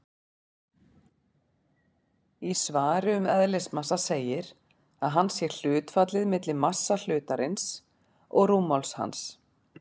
Í svari um eðlismassa segir að hann sé hlutfallið milli massa hlutarins og rúmmáls hans.